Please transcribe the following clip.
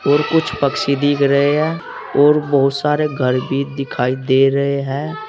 और कुछ पक्षी दिख रहे हैं और बहुत सारे घर भी दिखाई दे रहे हैं।